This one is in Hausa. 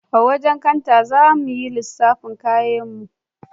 A wajen kanta za a mana lissafin kayanmu